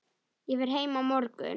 Ég fer heim á morgun.